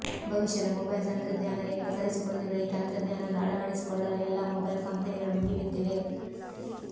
ಭವಿಷ್ಯದ ಮೊಬೈಲ್ ತಂತ್ರಜ್ಞಾನ ಎಂದು ಕರೆಸಿಕೊಂಡಿರುವ ಈ ತಂತ್ರಜ್ಞಾನವನ್ನು ಅಳವಡಿಸಿಕೊಳ್ಳಲು ಎಲ್ಲಾ ಮೊಬೈಲ್ ಕಂಪೆನಿಗಳು ಮುಗಿಬಿದ್ದಿವೆ